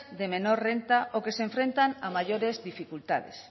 de menor de renta o que se enfrentan a mayores dificultades